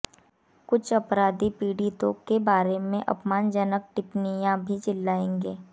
कुछ अपराधी पीड़ितों के बारे में अपमानजनक टिप्पणियां भी चिल्लाएंगे